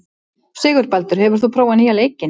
Sigurbaldur, hefur þú prófað nýja leikinn?